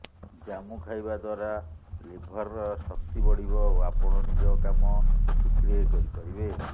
ଜାମୁ ଖାଇବା ଦ୍ୱାରା ଲିଭର୍ର ଶକ୍ତି ବଢ଼ିବ ଓ ଆପଣ ନିଜ କାମ ଠିକ୍ରେ କରିପାରିବେ